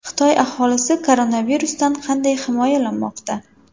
Xitoy aholisi koronavirusdan qanday himoyalanmoqda?.